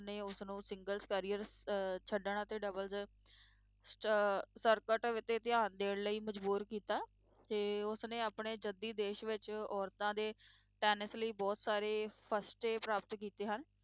ਉਸਨੇ ਉਸਨੂੰ singles career ਅਹ ਛੱਡਣ ਅਤੇ doubles ਸ~ ਸਰਕਟ ਤੇ ਧਿਆਨ ਦੇਣ ਲਈ ਮਜ਼ਬੂਰ ਕੀਤਾ ਤੇ ਉਸਨੇ ਆਪਣੇ ਜੱਦੀ ਦੇਸ਼ ਵਿੱਚ ਔਰਤਾਂ ਦੇ ਟੈਨਿਸ ਲਈ ਬਹੁਤ ਸਾਰੇ ਫਸਟੇ ਪ੍ਰਾਪਤ ਕੀਤੇ ਹਨ,